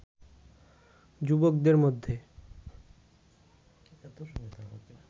যুবকদের মধ্যে